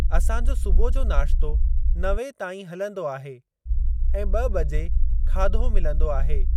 असां जो सुबुह जो नाश्तो नवें ताईं हलंदो आहे ऐं ॿ बजे खाधो मिलंदो आहे।